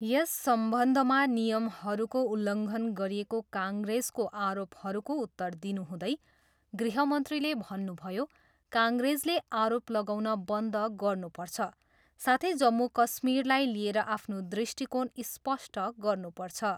यस सम्बन्धमा नियमहरूको उल्लघङ्न गरिएको काङ्ग्रेसको आरोपहरूको उत्तर दिनुहुँदै गृहमन्त्रीले भन्नुभयो, काङ्ग्रेसले आरोप लगाउन बन्द गर्नुपर्छ साथै जम्मू कश्मीरलाई लिएर आफ्नो दृष्टिकोण स्पष्ट गर्नुपर्छ।